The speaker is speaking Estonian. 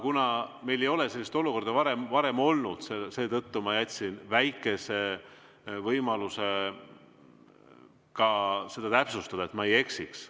Kuna meil ei ole sellist olukorda varem olnud, seetõttu ma jätsin väikese võimaluse ka seda täpsustada, et ma ei eksiks.